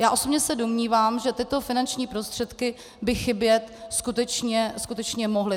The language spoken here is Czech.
Já osobně se domnívám, že tyto finanční prostředky by chybět skutečně mohly.